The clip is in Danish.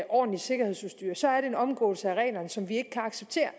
ordentligt sikkerhedsudstyr så er det en omgåelse af reglerne som vi ikke kan acceptere